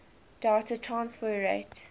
data transfer rate